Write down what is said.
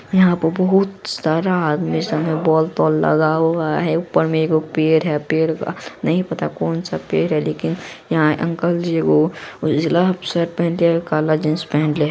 यहाँ पर बहुत सारा आदमी है सामने बोल-टाल लगा हुआ है ऊपर मे एक पेड़ है पेड़ का नहीं पता कौनसा पेड़ है लेकिन यहाँ अंकल जी ओ उजला पेहेनले के काला जीन्स पेहेनले --